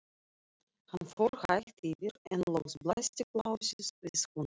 Hann fór hægt yfir en loks blasti plássið við honum.